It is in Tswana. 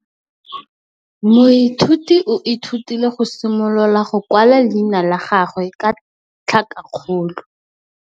Moithuti o ithutile go simolola go kwala leina la gagwe ka tlhakakgolo.